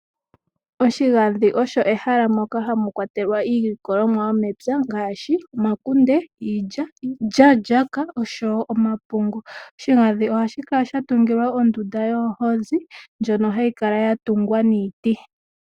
Oshigandhi osho ehala moka ha mu kwatelwa iilikolomwa yo mepya ngaashi: omakunde, iilya, iilya-lyaka oshowo omapungu. Oshigadhi oha shi kala shatungilwa ondunda yoohozi ndjono ha yi kala ya tungwa niiti.